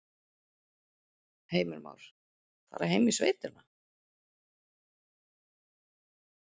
Heimir Már: Fara heim í sveitina?